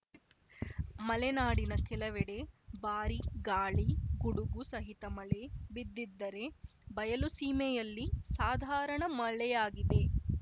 ಮಲೆನಾಡಿನ ಕೆಲವೆಡೆ ಭಾರೀ ಗಾಳಿ ಗುಡುಗು ಸಹಿತ ಮಳೆ ಬಿದ್ದಿದ್ದರೆ ಬಯಲುಸೀಮೆಯಲ್ಲಿ ಸಾಧಾರಣ ಮಳೆಯಾಗಿದೆ